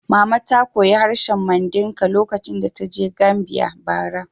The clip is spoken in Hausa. Mama ta koyi harshen Mandinka lokacin da ta je Gambia, bara.